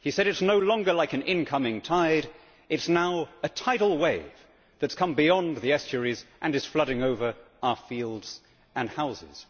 He said It is no longer like an incoming tide, it is now a tidal wave that has come beyond the estuaries and is flooding over our fields and houses'.